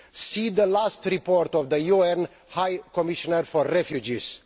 See the last report of the UN High Commissioner for Refugees.